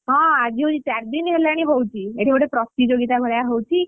ହଁ ଆଜି ହଉଛି ଚାରି ଦିନ ହେଲାଣି ହଉଛି, ଏଠି ଗୋଟେ ପ୍ରତିଯୋଗିତା ଭଳିଆ ହଉଛି।